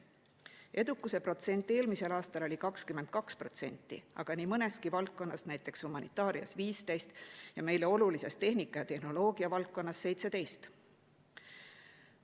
Edukuse protsent eelmisel aastal oli 22%, aga nii mõneski valdkonnas, näiteks humanitaarias 15% ja meile olulises tehnika ja tehnoloogia valdkonnas 17%.